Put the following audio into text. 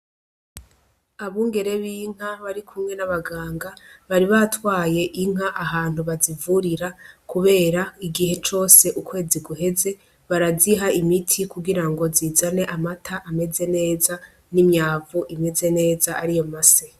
Abungere b'inka bari kumwe n'abaganga bari batwaye inka ahantu bazivurira, kubera igihe cose ukwezi guheze baraziha imiti kugira ngo zizane amata ameze neza n'imyavu imeze neza ari yo ma se.